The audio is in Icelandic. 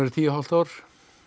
tíu og hálft ár